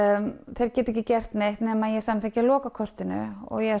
þeir geti ekki gert neitt nema ég samþykki að loka kortinu ég